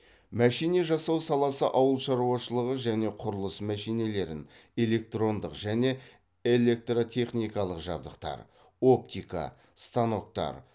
мәшине жасау саласы ауыл шаруашылығы және құрылыс мәшинелерін электрондық және электротехникалық жабдықтар оптика станоктар